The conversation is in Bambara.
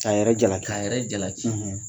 K'a yɛrɛ jalaki, k'a yɛrɛ jalaki.